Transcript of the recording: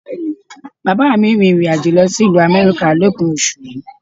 Bàbá mi ń rìnrìn àjò lọ sí ìlú Amẹ́ríkà lópin oṣù yìí